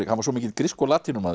hann var svo mikill grísku